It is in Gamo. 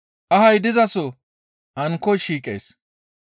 Ahay dizaso ankkoy shiiqees.